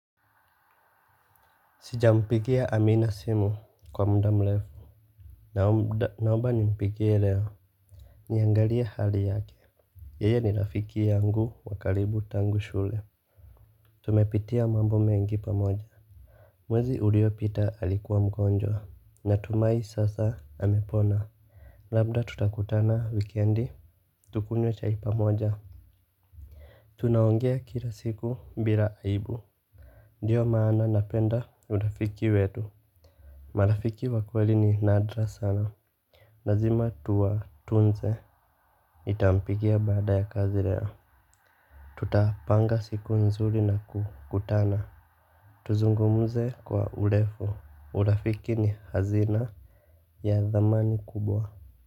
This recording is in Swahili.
Sijampigia amina simu kwa muda mrefu. Naomba ni mpigie leo. Niangalia hali yake. Yeye ni rafiki yangu wa karibu tangu shule. Tumepitia mambo mengi pamoja. Mwezi uliopita alikuwa mgonjwa. Natumai sasa amepona. Labda tutakutana wikendi. Tukunywe chai pamoja. Tunaongea kila siku bila aibu. Ndiyo maana napenda urafiki wetu. Marafiki wa kweli ni nadra sana lazima tuwa tunze, nitampigia baada ya kazi leo. Tutapanga siku nzuri naku kutana. Tuzungumze kwa urefu, urafiki ni hazina ya dhamani kubwa.